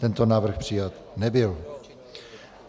Tento návrh přijat nebyl.